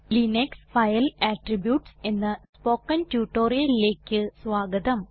Linux file attributes എന്ന spoken ട്യൂട്ടോറിയലിലേക്ക് സ്വാഗതം